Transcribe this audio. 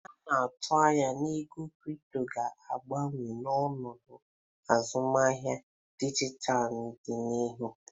A na-atụ anya na ego kripto ga-agbanwe ọnọdụ azụmahịa dijitalụ n'ọdịnihu.